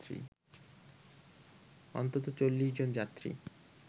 অন্তত ৪০ জন যাত্রী